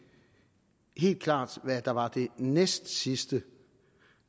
helt klart hvad der var det næstsidste